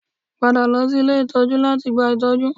Padà lọ sí ilé ìtọ́jú láti gba ìtọ́jú